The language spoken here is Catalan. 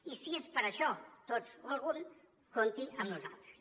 i si és per a això tots o algun compti amb nosaltres